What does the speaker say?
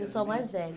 Eu sou a mais velha.